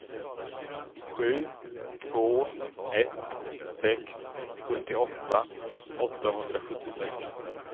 sju två ett sex sjuttioåtta åttahundrasjuttiosex